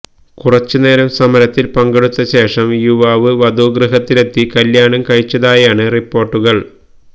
കുറച്ചുനേരം സമരത്തില് പങ്കെടുത്ത ശേഷം യുവാവ് വധുഗൃഹത്തിലെത്തി കല്യാണം കഴിച്ചതായാണ് റിപ്പോര്ട്ടുകള്